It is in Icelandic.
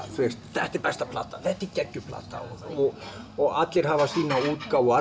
þetta er besta platan þetta er geggjuð plata allir hafa sína útgáfu og